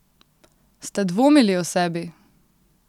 Ste dvomili o sebi?